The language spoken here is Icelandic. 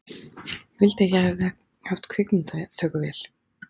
Ég vildi að ég hefði haft kvikmyndatökuvél.